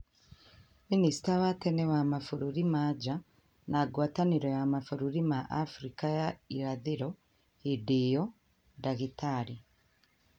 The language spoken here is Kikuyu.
Minista wa tene wa mabũrũri ma na nja na ngwatanĩro ya mabũrũri ma Afrika ya irathĩro hĩndĩ ĩyo, dagĩtarĩ